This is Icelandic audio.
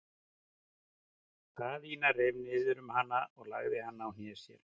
Daðína reif niður um hana og lagði hana á hné sér.